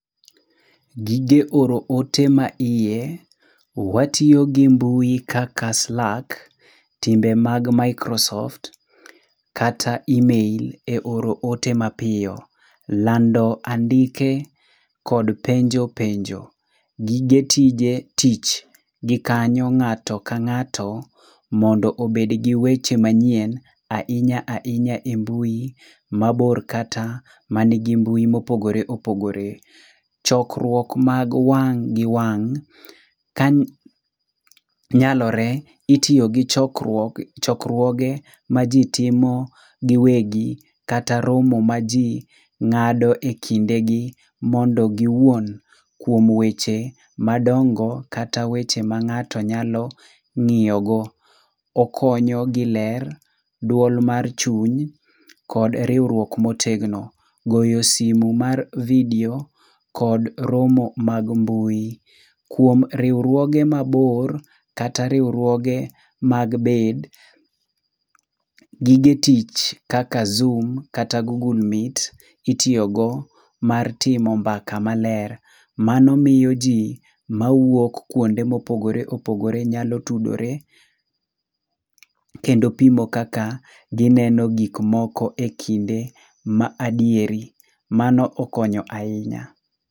Gige oro ote maiye. Watiyo gi mbui kaka Slack, timbe mag Microsoft, kata email e oro oto mapiyo. Lando andike kod penjo penjo. Gige tije tich. Gikanyo ng'ato ka ng'ato mondo obed gi weche manyien ahinya ahinya e mbui mabor kata man gi mbui mopogore opogore. Chokruok mag wang' gi wang'. Ka nyalore itiyo gi chokruoge maji timo giwegi kata romo maji ng'ado e kindegi mondo giwuon kuom weche madongo kata weche ma ng'ato nyalo ng'iyogo. Okonyo giler, duol mar chuny kod riwruok motegno. Goyo simu mar vidio kod romo mag mbui. Kuom riwruoge mabor, kata riwruoge mag bed, gige tich kaka Zoom kata Google meet itiyogo mar timo mbaka maler. Mano miyo ji mawuok kuonde mopogore opogore nyalo tudore kendo pimo kaka gineno gikmoko e kinde ma adieri. Mano okonyo ahinya.